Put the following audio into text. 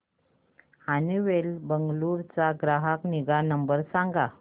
Honeywell Bengaluru चा ग्राहक निगा नंबर सांगा